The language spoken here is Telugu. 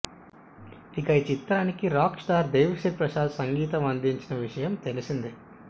ఇక ఈ చిత్రానికి రాక్స్టార్ దేవీ శ్రీ ప్రసాద్ సంగీతం అందించిన విషయం తెలిసిందే